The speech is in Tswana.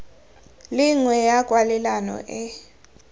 le nngwe ya kwalelano e